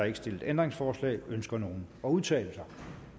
ikke stillet ændringsforslag ønsker nogen at udtale sig